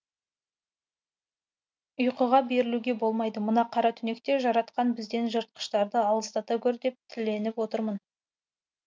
ұйқыға берілуге болмайды мына қара түнекте жаратқан бізден жыртқыштарды алыстата гөр деп тіленіп отырмын